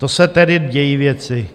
To se tedy dějí věci.